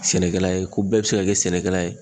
Sɛnɛkɛla ye ko bɛɛ be se ka kɛ sɛnɛkɛla ye